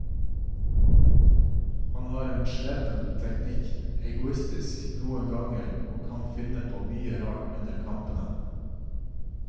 Han har en slepen teknikk, egoistisk noen ganger og kan finne på mye rart under kampene.